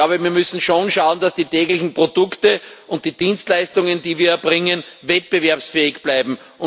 Ich glaube, wir müssen schon schauen, dass die täglichen Produkte und die Dienstleistungen, die wir erbringen, wettbewerbsfähig bleiben.